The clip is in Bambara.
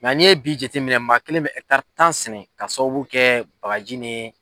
Nka n'i ye bi jate minɛ maa kelen bɛ tan sɛnɛ ka sababu kɛ bagaji ni